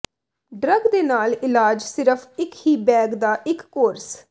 drug ਦੇ ਨਾਲ ਇਲਾਜ ਸਿਰਫ ਇੱਕ ਹੀ ਬੈਗ ਦਾ ਇੱਕ ਕੋਰਸ